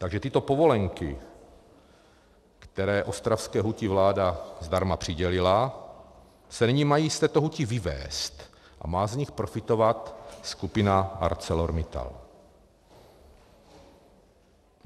Takže tyto povolenky, které ostravské huti vláda zdarma přidělila, se nyní mají z této huti vyvést a má z nich profitovat skupina ArcelorMittal.